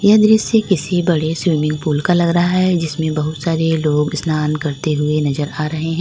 यह दृश्य किसी बड़े स्विमिंग पूल का लग रहा है जिसमें बहुत सारे लोग स्नान करते हुए नजर आ रहे हैं।